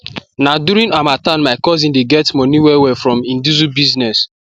na during harmattan my cousin de get moni well well for him diesel business